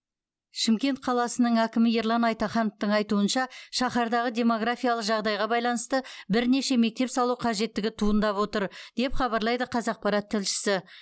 шымкент қаласының әкімі ерлан айтахановтың айтуынша шаһардағы демографиялық жағдайға байланысты бірнеше мектеп салу қажеттігі туындап отыр деп хабарлайды қазақпарат тілшісі